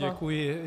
Děkuji.